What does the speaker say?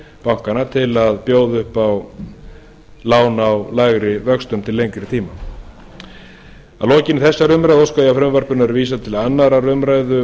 bankanna til að bjóða upp á lán á lægri vöxtum til lengri tíma að lokinni þessari umræðu óska ég eftir því að frumvarpinu verði vísað til annarrar umræðu